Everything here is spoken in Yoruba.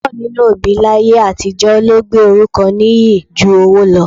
Púpọ̀ nínú òbí láyé àtijọ́ ló gbé orúkọ nìyí ju owó lọ